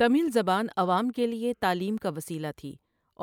تمل زبان عوام کے لیے تعلیم کا وسیلہ تھی